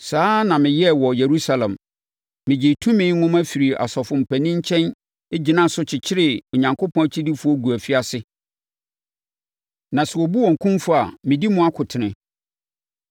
Saa ara na meyɛɛ wɔ Yerusalem. Megyee tumi nwoma firii asɔfoɔ mpanin nkyɛn gyinaa so kyekyeree Onyankopɔn akyidifoɔ guu afiase; na sɛ wɔbu wɔn kumfɔ a, medi mu akotene.